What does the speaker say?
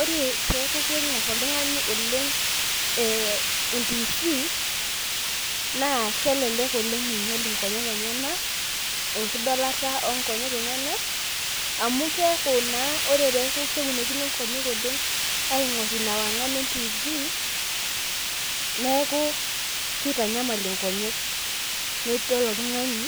ore peeku ing'or oltungani oleng entiifi, naa kelek oleng eing'iel inkonyek enyenak. enkidolata oo nkonyek enyenak amu keeku naa ore peeku keunokino nkonyek oleng ina wang'an e entifii neeku kitanyamal inonyek. nidol oltungani